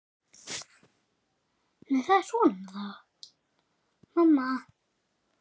En hvor þeirra er það?